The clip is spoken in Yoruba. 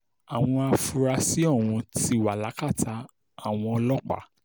àwọn afurasí ọ̀hún ti wà lákàtà àwọn ọlọ́pàá